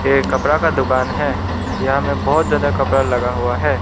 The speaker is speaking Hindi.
ये कपड़ा का दुकान है यहां में बहोत ज्यादा कपड़ा लगा हुआ है।